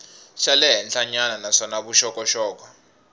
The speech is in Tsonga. xa le henhlanyana naswona vuxokoxoko